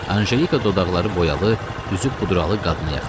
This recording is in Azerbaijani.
Anjelika dodaqları boyalı, üzü pudralı qadına yaxınlaşdı.